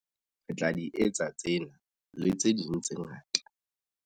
Re tla di etsa tsena, le tse ding tse ngata.